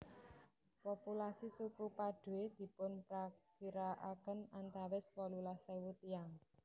Populasi suku Padoe dipunprakirakaken antawis wolulas ewu tiyang